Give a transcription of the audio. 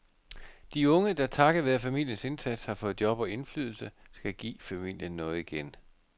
De unge, der takket være familiens indsats har fået job og indflydelse, skal give familien noget igen.